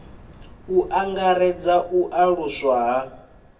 u angaredza u aluswa ha